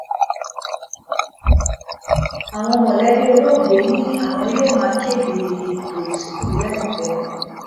àwọn mọlẹbí olóògbé ni àwọn yóò máa kéde ètò ìsìnkú láìpẹ